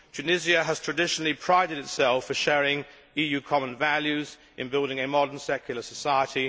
Tunisia has traditionally prided itself on sharing EU common values in building a modern secular society.